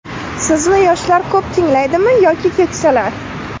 Sizni yoshlar ko‘p tinglaydimi yoki keksalar?